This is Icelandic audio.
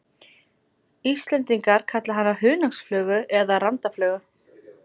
Íslendingar kalla hana hunangsflugu eða randaflugu.